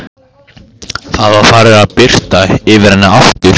Það var farið að birta yfir henni aftur.